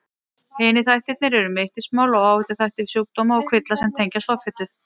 Hinir þættirnir eru mittismál og áhættuþættir sjúkdóma og kvilla sem tengjast offitu.